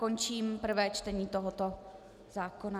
Končím prvé čtení tohoto zákona.